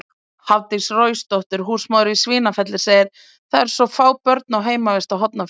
Hafdís Roysdóttir, húsmóðir í Svínafelli, segir: „Það eru svo fá börn á heimavist á Hornafirði“.